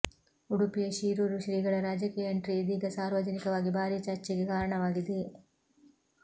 ಉಡುಪಿಯ ಶಿರೂರು ಶ್ರೀಗಳ ರಾಜಕೀಯ ಎಂಟ್ರಿ ಇದೀಗ ಸಾರ್ವಜನಿಕವಾಗಿ ಭಾರೀ ಚರ್ಚೆಗೆ ಕಾರಣವಾಗಿದೆ